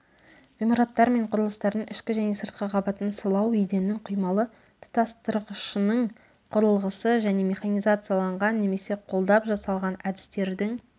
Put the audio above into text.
ғимараттар мен құрылыстардың ішкі және сыртқы қабатын сылау еденнің құймалы тұтастырғышының құрылғысы және механизацияланған немесе қолдап жасалған әдістердің